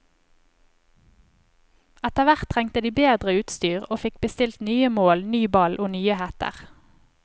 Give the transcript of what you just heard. Etterhvert trengte de bedre utstyr, og fikk bestilt nye mål, ny ball og nye hetter.